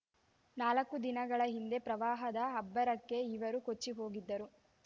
ನಾಲ್ಕು ದಿನಗಳ ಹಿಂದೆ ಪ್ರವಾಹದ ಅಬ್ಬರಕ್ಕೆ ಇವರು ಕೊಚ್ಚಿಹೋಗಿದ್ದರು